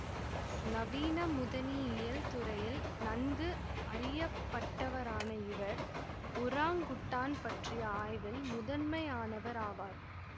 நவீன முதனியியல் துறையில் நன்கு அறியப்பட்டவரான இவர் ஒராங்குட்டான் பற்றிய ஆய்வில் முதன்மையானவர் ஆவார்